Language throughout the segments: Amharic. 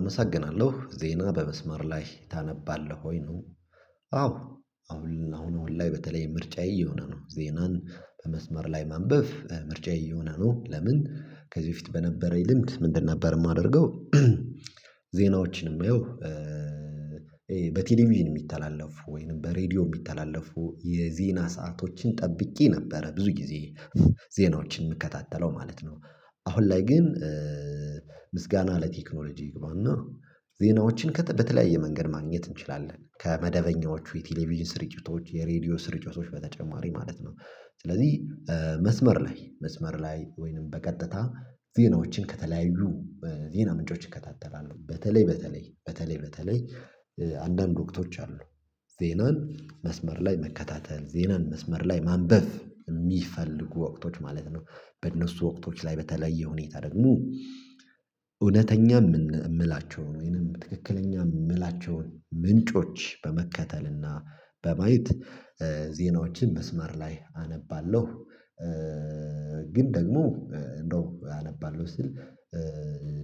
አመሰግናለሁ ዜና በመስመር ላይ ታነባለህ ወይ ነው? አዎ አሁን አሁን ላይ በተለይ ምርጫዬ እየሆነ ነው ዜናን በመስመር ላይ ማንበብ ምርጫዬ እየሆነ ነው። ለምን ከዚህ በፊት በነበረኝ ልምድ ምንድን ነበር? የማደርገው ዜናዎችን የማየው በቴሌቪዥን የሚተላለፉ ወይም በሬዲዮ የሚተላለፉ የዜና ሰአቶችን ጠብቄ ነበረ ብዙ ጊዜ ዜናዎችን እምከታተለው ማለት ነው። አሁን ላይ ግን ምስጋና ለቴክኖሎጂ ይግባና ዜናዎችን በተለያየ መንገድ ማግኘት እንችላለን ከመደበኛዎቹ የቴሌቪዥን ስርጭቶች የሬዲዮ ስርጭቶች በተጨማሪ ማለት ነው። ስለዚህ መስመር ላይ መስመር ላይ ወይንም በቀጥታ ዜናዎችን ከተለያዩ ዜና ምንጮች እከታተላለሁ። በተለይ በተለይ በተለይ በተለይ አንዳንድ ወቅቶች አሉ። ዜናን መስመር ላይ መከታተል ዜናን መስመር ላይ ማንበብ የሚፈልጉ ወቅቶች ማለት ነው። በእነሱ ወቅቶች ላይ በተለየ ሁኔታ ደግሞ እውነተኛ የምላቸውን ወይንም ትክክለኛ የምላቸውን ምንጮች በመከተልና በማየት ዜናዎችን መስመር ላይ አነባለሁ። ግን ደግሞ እንደው አነባለሁ ስል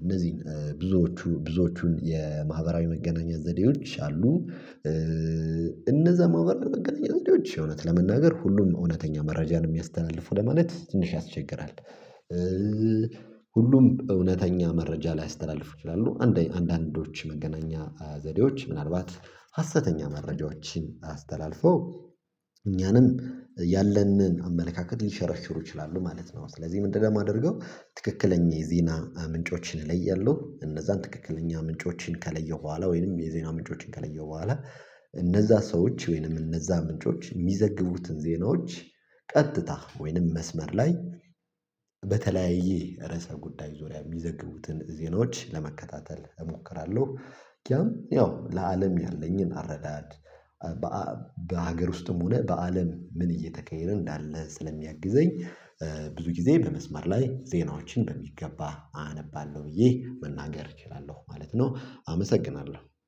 እነዚህን ብዙዎቹ ብዙዎቹን የማህበራዊ መገናኛ ዘዴዎች አሉ። እነዛ መህበራዊ መገናኘት ዘዴዎች እውነት ለመናገር ሁሉንም እውነተኛ መረጃን የሚያስተላልፉ ለማለት ትንሽ ያስቸግራል። ሁሉም እውነተኛ መረጃ ላይያስተላልፉ ይችላሉ አንዳንዶች መገናኛ ዘዴዎች ምናልባት ሀሰተኛ መረጃዎችን አስተላልፈው እኛንም ያለንን አመለካከት ሊሸረሽሩ ይችላሉ ማለት ነው። ስለዚህ ምንድነው? የማደርገው ትክክለኛ የዜና ምንጮችን እለያለሁ እነዛን ትክክለኛ ምንጮችን ከለየሁ በኋላ ወይንም የዜና ምንጮችን ከለየሁ በኋላ እነዛ ሰዎች ወይንም እነዛ ምንጮች የሚዘግቡትን ዜናዎች ቀጥታ ወይንም መስመር ላይ በተለያየ ርዕሰ ጉዳይ ዙሪያ የሚዘግቡትን ዜናዎች ለመከታተል እሞክራለሁ። ያው ለአለም ያለኝን አረዳድ በሀገር ውስጥም ሆነ በአለም ምን እየተካሄደ እንዳለ ስለሚያግዘኝ ብዙ ጊዜ በመስመር ላይ ዜናዎችን በሚገባ አነባለሁ ብዬ መናገር እችላለሁ ማለት ነው። አመሰግናለሁ